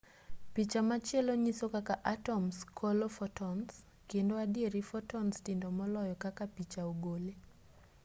picha machielo nyiso kaka atoms kolo fotons kendo adieri fotons tindo moloyo kaka picha ogole